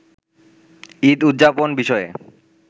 ঈদ উদযাপন বিষয়ে